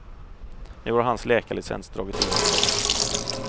Nu har hans läkarlicens dragits in för gott.